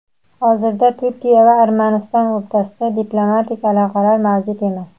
Hozirda Turkiya va Armaniston o‘rtasida diplomatik aloqalar mavjud emas.